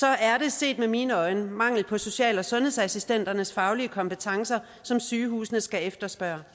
er det set med mine øjne den mangel på social og sundhedsassistenternes faglige kompetencer som sygehusene skal efterspørge